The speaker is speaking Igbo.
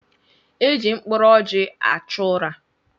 E ji mkpụrụ ọjị achụ ụra.